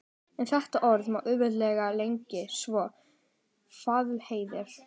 En þetta orð má auðveldlega lengja svo: Vaðlaheiðar.